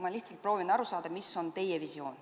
Ma lihtsalt proovin aru saada, mis on teie visioon.